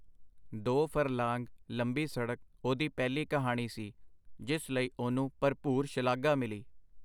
ਦੋ ਫਰਲਾਂਗ ਲੰਬੀ ਸੜਕ ਉਹਦੀ ਪਹਿਲੀ ਕਹਾਣੀ ਸੀ, ਜਿਸ ਲਈ ਉਹਨੂੰ ਭਰਪੂਰ ਸ਼ਲਾਘਾ ਮਿਲੀ.